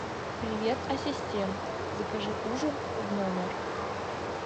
привет ассистент закажи ужин в номер